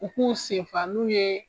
U ku senfan n'u ye.